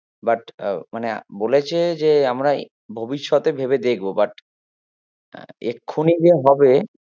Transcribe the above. But আহ মানে বলেছে যে আমরা ভবিষৎতে ভেবে দেখবো but এখুনি যে হবে